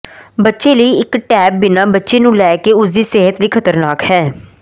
ਬੱਚੇ ਲਈ ਇੱਕ ਟੈਬ ਬਿਨਾ ਬੱਚੇ ਨੂੰ ਲੈ ਕੇ ਉਸ ਦੀ ਸਿਹਤ ਲਈ ਖ਼ਤਰਨਾਕ ਹੈ